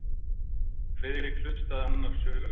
Friðrik hlustaði annars hugar.